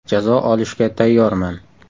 Jazo olishga tayyorman.